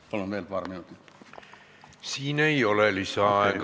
Palun veel paar minutit!